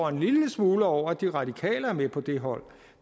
en lille smule over at de radikale er med på det hold